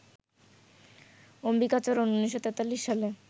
অম্বিকাচরণ ১৯৪৩ সালে